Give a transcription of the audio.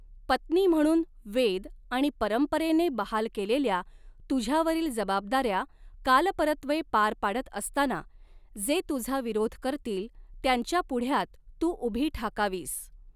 पत्नी म्हणून वेद आणि परंपरेने बहाल केलेल्या तुझ्यावरील जबाबदाऱ्या कालपरत्वे पार पाडत असताना, जे तुझा विरोध करतील त्यांच्या पुढ्यात तू उभी ठाकावीस.